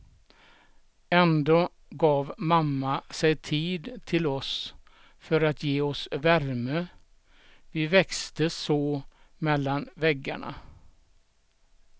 Ändå gav mamma sig tid till oss för att ge oss värme, vi växte så mellan väggarna.